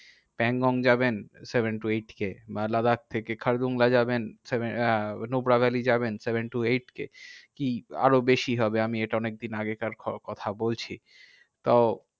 প্যাংগং যাবেন seven to eight K Ladakh থেকে খারদুংলা যাবেন নুব্রা ভ্যালি যাবেন seven to eight K কি? আরো বেশি হবে আমি এটা অনেকদিন আগেকার কথা বলছি। তো